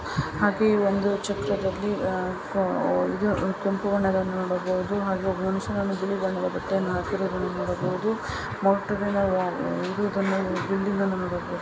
ಹಾಗೆ ಒಂದು ಚಕ್ರದಲ್ಲಿ ಅಹ್ ಉಹ್ ಇದು ಕೆಂಪು ಬಣ್ಣದ ನೋಡಬಹುದು ಹಾಗೆ ಒಬ್ಬ ಮನುಷ್ಯನು ಬಿಳಿ ಬಣ್ಣದ ಬಟ್ಟೆಯನ್ನು ಹಾಕಿರುವುದನ್ನು ನೋಡಬಹುದು. ಮೋಟಾರನ್ನು ಅವರು ಇಡಿಯುವುದನ್ನು ಬಿಲ್ಡಿಂಗ್ಅನ್ನು ನೋಡಬಹುದು.